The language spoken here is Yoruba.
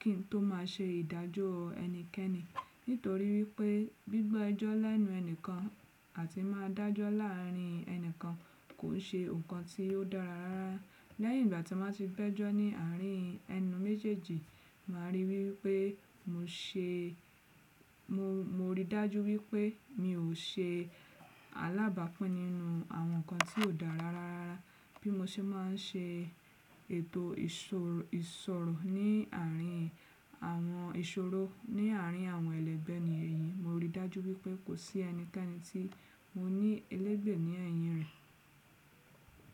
kí n tó má ṣe ìdájọ́ ẹnikẹ́ni. Nítorí wípé gbígbọ́ ẹjọ́ lẹ́nu ẹni kan àti máa dájọ́ láàárín ẹni kan kò ṣe nǹkan tí ó dára rárá. Lẹ́yìn ìgbà tí mo bá ti gbẹjọ́ ní àárín ẹnu méjèèjì, màá ríi wípé mo ṣe, mo rí dájú wípé mi ò ṣe alábàápin nínú àwọn nǹkan tí kò dára rárá. Bí mo ṣe máa n ṣe ètò ìṣòro ní àárín àwọn ìṣòro, ní àárín àwọn ẹlẹ́gbẹ́ ni èyí, mo rí dájú wípé kò sí ẹnikẹ́ni tí mo ní ẹlẹ́gbẹ̀ ní ẹ̀yìn rẹ̀